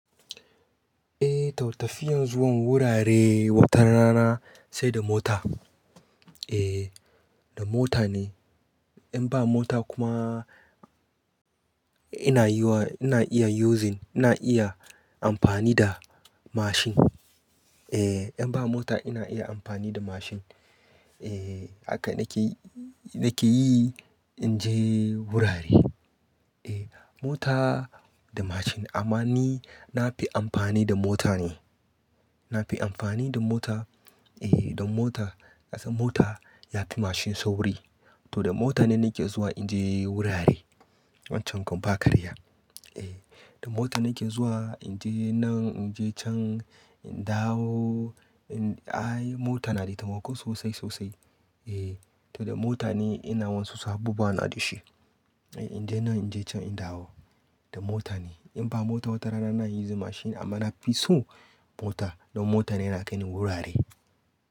Eh, tau tafiyar zuwan wurare wata rana sai da mota. Eh, da mota ne. In ba mota kuma ina yiwa, ina iya using, ina iya amfani da mashin. Eh, in ba mota ina iya amfani da mashin. Eh, haka nake, nake yi in je wurare. Eh, mota da mashin amma ni na fi amfani da mota ne. Na fi amfani da mota. Eh, don mota, ka san mota ya fi mashin sauri. To da mota ne nake zuwa in je wurare. Wancan kuma ba karya. Eh, da mota nake zuwa in je nan, in je can, in dawo, in ai mota na da taimako sosai, sosai. Eh, to da mota ne ina wansu su abo ba na da shi. Eh, in je nan, in je can, in dawo da mota ne. In ba mota wata rana na yi using mashin amma na fi so mota. Don mota ne yana kai ni wurare.